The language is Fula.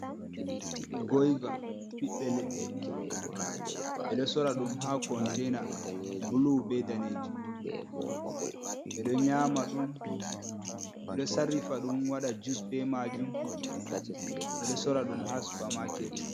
Goiva ɓibbe leɗɗe, ɓe ɗo sorra ɗum ha kontaina blu be daneejum. Ɓe ɗon nyma ɗum, ɓe ɗo sarrifa ɗum waɗa jus be majum. Ɓe ɗo sorra ɗum ha supa maket.